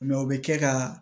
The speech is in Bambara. o bɛ kɛ ka